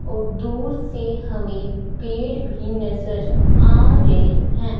और दूर से हमे पेड़ भी नजर आ रहे हैं।